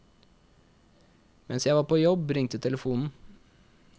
Mens jeg var på jobb ringte telefonen.